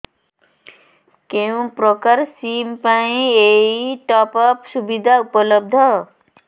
କେଉଁ ପ୍ରକାର ସିମ୍ ପାଇଁ ଏଇ ଟପ୍ଅପ୍ ସୁବିଧା ଉପଲବ୍ଧ